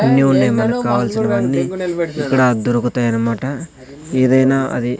new నెమన్ కావాల్సినవన్నీ ఇక్కడ దొరుకుతై అన్నమాట ఏదైనా అది--